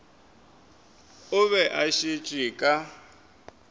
o be a šetše ka